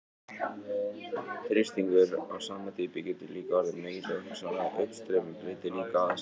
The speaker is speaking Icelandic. Þrýstingur á sama dýpi getur líka orðið meiri og hugsanlegt uppstreymi breytir líka aðstæðum.